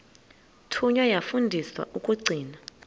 thunywa yafundiswa ukugcina